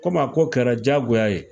Komi a ko kɛra diyagoya ye